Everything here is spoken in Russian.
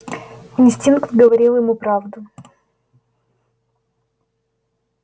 инстинкт говорил ему правду